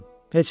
Heç nəyin.